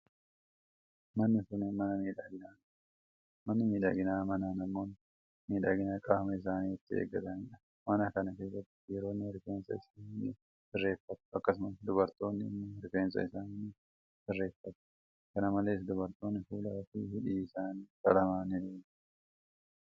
Manni kun, mana miidhaginaa dha. Manni miidhaginaa mana namoonni miidhagina qaama isaanii itti eeggatanii dha. Mana kana keessatti dhiironni rifeensa isaanii ni sirreeffatu akkasumas dubartoonni immoo rifeensa isaanii ni sirreeffatu. Kana malees, dubartoonni fuula fi hidhii isaanii qalama ni dibatu.